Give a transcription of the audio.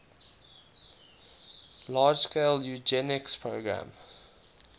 large scale eugenics program